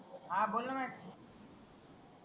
हा बोल न